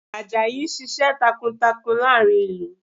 Àjàyí ń ṣiṣẹ́ takuntakun láàrin ìlú